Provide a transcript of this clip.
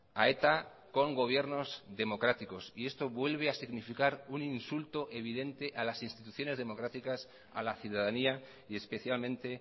a eta con gobiernos democráticos y esto vuelve a significar un insulto evidente a las instituciones democráticas a la ciudadanía y especialmente